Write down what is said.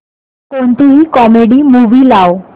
कोणतीही comedy movie लाव